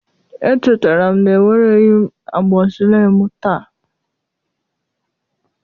Echetere m na ewereghị m amoxicillin m taa